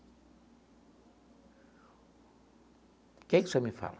O que que o senhor me fala?